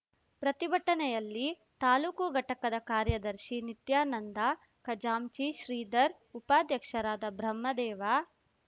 ಪ್ರತಿಭಟನೆಯಲ್ಲಿ ತಾಲೂಕು ಘಟಕದ ಕಾರ್ಯದರ್ಶಿ ನಿತ್ಯಾನಂದ ಖಜಾಂಚಿ ಶ್ರೀಧರ್ ಉಪಾಧ್ಯಕ್ಷರಾದ ಬ್ರಹ್ಮದೇವ